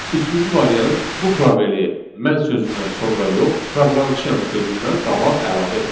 Üçüncü variant bu probeli mən sözündən sonra yox, proqramçıyam sözündən qabaq əlavə etməkdir.